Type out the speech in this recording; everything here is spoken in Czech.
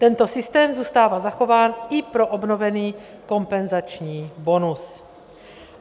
Tento systém zůstává zachován i pro obnovený kompenzační bonus.